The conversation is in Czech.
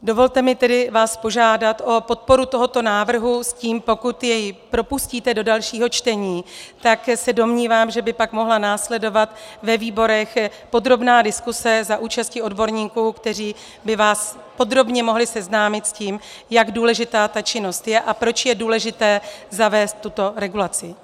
Dovolte mi tedy vás požádat o podporu tohoto návrhu s tím, pokud jej propustíte do dalšího čtení, tak se domnívám, že by pak mohla následovat ve výborech podrobná diskuse za účasti odborníků, kteří by vás podrobně mohli seznámit s tím, jak důležitá ta činnost je a proč je důležité zavést tuto regulaci.